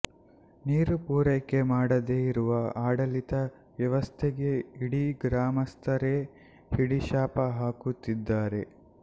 ನೀರು ಪೂರೈಕೆ ಮಾಡದೇ ಇರುವ ಆಡಳಿತ ವ್ಯವಸ್ಥೆಗೆ ಇಡೀ ಗ್ರಾಮಸ್ಥರೇ ಹಿಡಿ ಶಾಪ ಹಾಕುತ್ತಿದ್ದಾರೆ